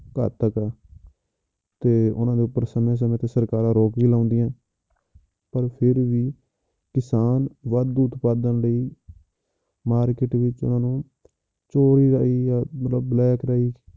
ਘਾਤਕ ਹੈ ਤੇ ਉਹਨਾਂ ਦੇ ਉੱਪਰ ਸਮੇਂ ਸਮੇਂ ਤੇ ਸਰਕਾਰਾਂ ਰੋਕ ਵੀ ਲਾਉਂਦੀਆਂ, ਪਰ ਫਿਰ ਵੀ ਕਿਸਾਨ ਵਾਧੂ ਉਤਪਾਦਨ ਲਈ market ਵਿੱਚ ਉਹਨਾਂ ਨੂੰ ਚੋਰੀ ਰਾਹੀਂ ਜਾਂ ਮਤਲਬ black ਰਾਹੀਂ